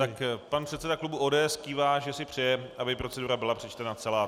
Tak pan předseda klubu ODS kývá, že si přeje, aby procedura byla přečtena celá.